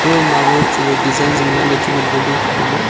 design zinglah ley chu ngan ngo le e photo ma.